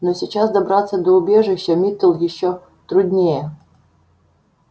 но сейчас добраться до убежища митл ещё труднее